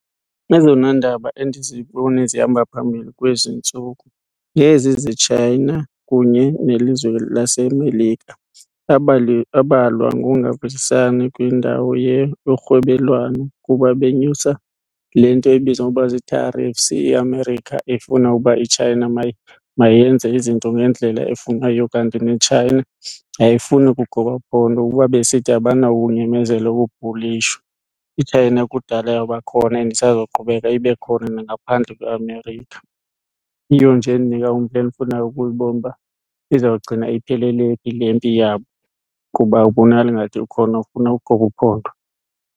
Ezona ndaba endizibone zihamba phambili kwezi ntsuku ngezi zeChina kunye nelizwe laseMelika, abalwa ngongavisisani kwindawo yorhwebelwano kuba benyusa le nto ebizwa ngokuba zi-tarrifs. IAmerica ifuna uba iChina mayenze izinto ngendlela efunwa yiyo kanti neChina ayifuni kugoba phondo kuba besithi abanakunyamezela ukubhulishwa, iChina kudala yabakhona and isazoqhubeka ibe khona nangaphandle kweAmerica. Iyiyo nje endinika umdla endifuna ukuyibona uba izawugcina iphelele phi le mpi yabo kuba akubonakali ingathi ukhona ofuna ugoba uphondo.